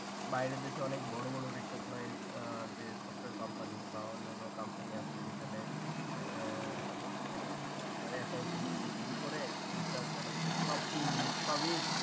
বাহিরের দেশে অনেক বড় বড় recognized আহ যে software company বা অন্যান্য company আছে যেখানে আহ মানে আপনার accounting থেকে শুরু করে HRmanagement সব team lead সবই।